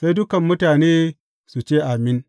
Sai dukan mutane su ce, Amin!